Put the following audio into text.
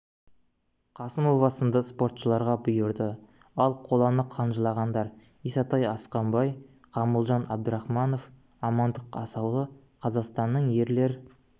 қасымова сынды спортшыларға бұйырды ал қоланы қанжылағандар исатай асқанбай ғамылжан абдрахманов амандық асаулы қазақстанның ерлер